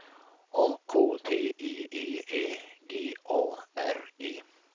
A K T I E Ä G A R E